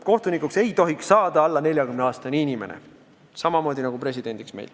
Kohtunikuks ei tohiks saada alla 40-aastane inimene, samamoodi nagu presidendiks.